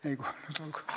Ei vist, vastasin kõigele.